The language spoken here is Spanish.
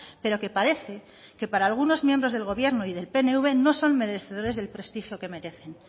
pero que parece que para algunos miembros del gobierno y del pnv no son merecedores del prestigio que merecen